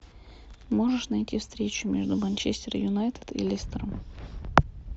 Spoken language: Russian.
можешь найти встречу между манчестер юнайтед и лестером